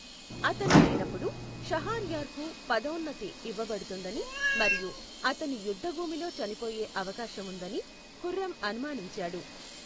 అతను లేనప్పుడు, షహర్యార్కు పదౌన్నతి ఇవ్వబడుతుందని మరియు అతను యుద్ధభూమిలో చనిపోయే అవకాశం ఉందని ఖుర్రం అనుమానించాడు.